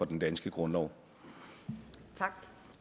den danske grundlov